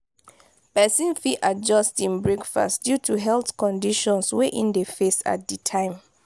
pesin fit adjust in breakfast due to health conditions wey in dey face at di time